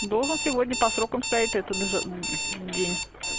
доллар сегодня по срокам стоит этот же день